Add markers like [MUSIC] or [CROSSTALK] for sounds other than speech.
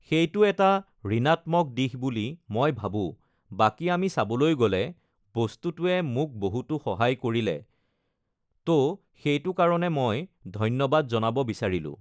সেইটো এটা ঋনাত্মক দিশ বুলি মই ভাবোঁ, বাকী আমি চাবলৈ গ'লে বস্তুটোৱে মোক বহুতো uhh সহায় কৰিলে ত' সেইটো কাৰণে মই ধন্যবাদ [NOISE] জনাব বিচাৰিলোঁ